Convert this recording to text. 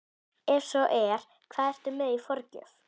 Ef svo er, hvað ertu með í forgjöf?